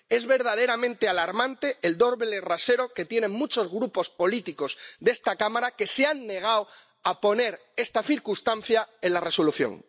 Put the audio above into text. Es verdaderamente alarmante el doble rasero que tienen muchos grupos políticos de esta Cámara que se han negado a incluir esta circunstancia en la Resolución.